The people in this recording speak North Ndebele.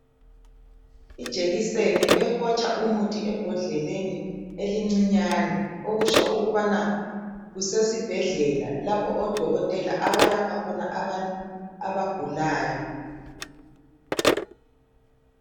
Ijekiseni ehotsha umuthi ebhodleleni elincinyane. Okutsho kubana kusesibhedlela lapho odokotela abalapha khona abantu abagulayo.